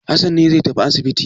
Hassan ne zai tafi asibiti.